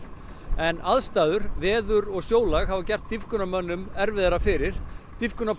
en aðstæður veður og sjólag hafa gert erfiðara fyrir